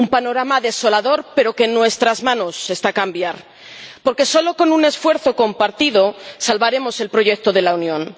un panorama desolador pero que en nuestras manos está cambiar, porque solo con un esfuerzo compartido salvaremos el proyecto de la Unión.